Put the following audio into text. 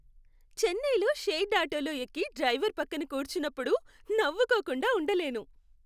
చెన్నైలో షేర్డ్ ఆటోలో ఎక్కి డ్రైవర్ పక్కన కూర్చున్నప్పుడు నవ్వుకోకుండా ఉండలేను.